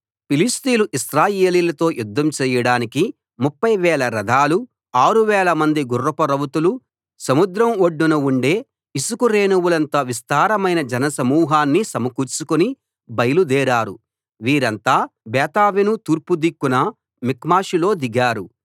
ఫిలిష్తీయులు ఇశ్రాయేలీయులతో యుద్దం చేయడానికి ముప్ఫై వేల రథాలు ఆరు వేలమంది గుర్రపు రౌతులు సముద్రం ఒడ్డున ఉండే ఇసుక రేణువులంత విస్తారమైన జనసమూహాన్ని సమకూర్చుకుని బయలుదేరారు వీరంతా బేతావెను తూర్పుదిక్కున మిక్మషులో దిగారు